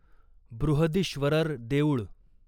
बृहदीश्वरर देऊळ